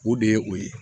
O de ye o ye